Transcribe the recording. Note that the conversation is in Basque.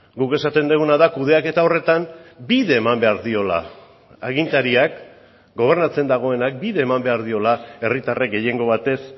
guk esaten duguna da kudeaketa horretan bide eman behar diola agintariak gobernatzen dagoenak bide eman behar diola herritarrek gehiengo batez